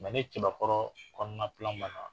ni cɛbakɔrɔ kɔnɔna banna